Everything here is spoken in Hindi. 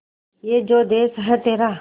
ये जो देस है तेरा